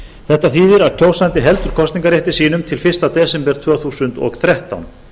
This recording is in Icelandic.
þetta þýðir að kjósandi heldur kosningarrétti sínum til fyrsta desember tvö þúsund og þrettán